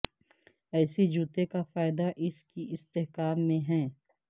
ایسے جوتے کا فائدہ اس کی استحکام میں ہے